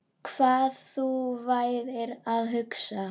Hvað þú værir að hugsa.